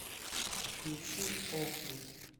включи охру